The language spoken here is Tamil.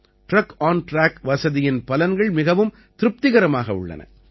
டிரக் ஆன்டிராக் வசதியின் பலன்கள் மிகவும் திருப்திகரமாக உள்ளன